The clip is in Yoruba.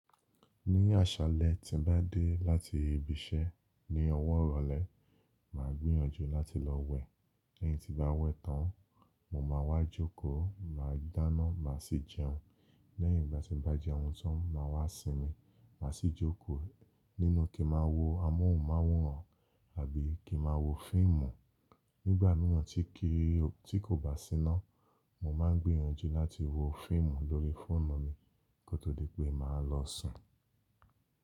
Ní àṣálẹ́ tí n bá dé láti ibi iṣẹ́ ní ọwọ́ ìrọ̀lẹ́, màá gbìyànjú láti lọ wẹ̀. Lẹ́yin tí n bá wẹ tán, mo máa wá jókòó, màá dáná, màá sì jẹun. Lẹ́yin ìgbà tí n bá jẹhun tán, màá wá sinmi, màá sì jókòó nínú kí n máa wo amóhùnmáwòrán àbí kí n máa wo fíìmù. Nígbà míràn tí kìí o, tí kò bá síná, mo máa ń gbìyànjú láti wo fíìmù lórí fóònù mi kó tó di pé màá lọ sùn.